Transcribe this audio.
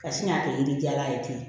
Ka sin k'a kɛ yiri jala ye ten